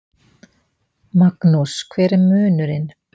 Magnús: Hver er munurinn?